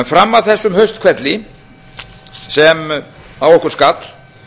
fram að þessum hausthvelli sem á okkur skall